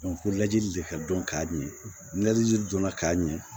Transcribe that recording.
fo lajɛli de ka dɔn k'a ɲɛ jili donna k'a ɲɛ